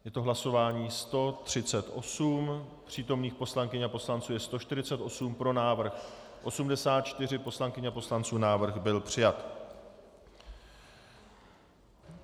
Je to hlasování 138, přítomných poslankyň a poslanců je 148, pro návrh 84 poslankyň a poslanců, návrh byl přijat.